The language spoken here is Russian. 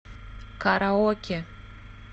караоке